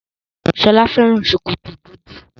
Sola fẹ́ràn ṣòkòtò dúdú.